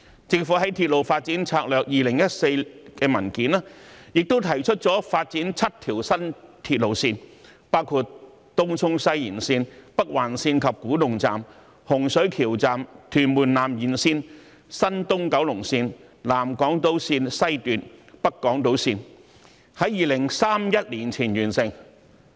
政府在《鐵路發展策略2014》的文件中，提出發展7個新鐵路項目，包括東涌西延綫、北環綫及古洞站、洪水橋站、屯門南延綫、東九龍綫、南港島綫、北港島綫，並在2031年前完成。